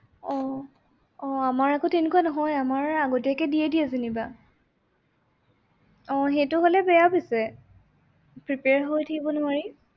আহ আহ আমাৰ আকৌ তেনেকুৱা নহয় আমাৰ আগতীয়াকে দিয়ে দিয়ে যেনিবা। আহ সেইটো হলে বেয়া পিছে। prepare হৈ থাকিব নোৱাৰি।